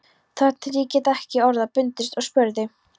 Þar til ég gat ekki orða bundist og spurði: